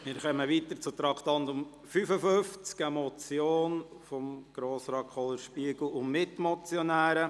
Es handelt sich um die Motion von Grossrat Kohler und Mitmotionären: